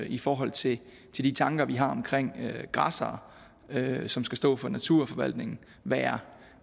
i forhold til de tanker vi har omkring græssere som skal stå for naturforvaltningen være